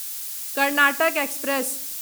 Karnataka express